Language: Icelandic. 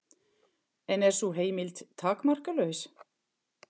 En er sú heimild takmarkalaus?